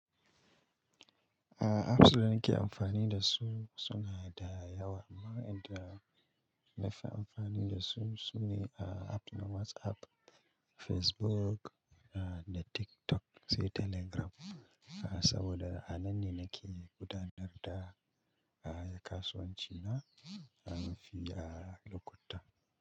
A apps da nake amfani da su suna da yawa amma inda na fi amfani da su sune a app na WhatsApp, Facebook, da TikTok sai Telegram saboda a nan ne nake gudanar da kasuwanci na fi a lokuta.